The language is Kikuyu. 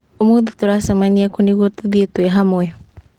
Ũmũthĩ tũracemania kũ nĩguo tũthiĩ twĩ hamwe?